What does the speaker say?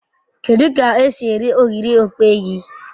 Kedu k'esi eri ogiri okpei